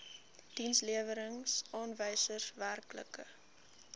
dienslewerings aanwysers werklike